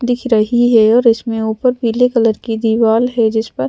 दिख रही है और इसमें ऊपर पीले कलर की दीवाल है जिस पर --